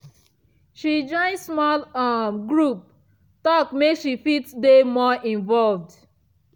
she join small um group talk make she fit dey more involved.